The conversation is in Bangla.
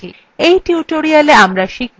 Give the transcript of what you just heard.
in tutorialwe আমরা শিখব :